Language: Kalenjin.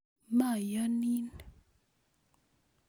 Mayoonin